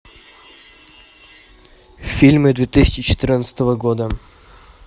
фильмы две тысячи четырнадцатого года